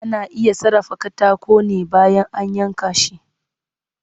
Ana iya sarrafa katako ne bayan an yanka shi